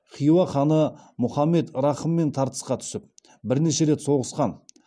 хиуа ханы мұхаммед рахыммен тартысқа түсіп бірнеше рет соғысқан